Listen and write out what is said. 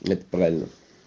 это правильно